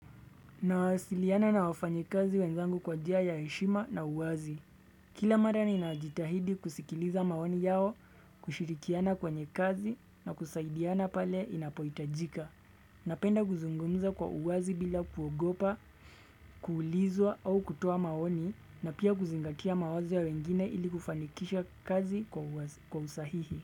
Nawasiliana na wafanyikazi wenzangu kwa njia ya heshima na uwazi. Kila mara ninajitahidi kusikiliza maoni yao kushirikiana kwenye kazi na kusaidiana pale inapohitajika. Napenda kuzungumza kwa uwazi bila kuogopa, kuulizwa au kutoa maoni na pia kuzingatia mawazo ya wengine ili kufanikisha kazi kwa usahihi.